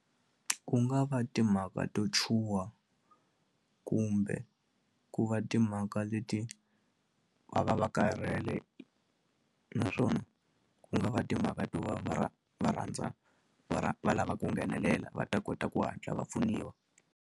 Ku nga va timhaka to chuha kumbe ku va timhaka leti va va va karhele naswona ku nga va timhaka to va va va rhandza va va lava ku nghenelela va ta kota ku hatla va pfuniwa.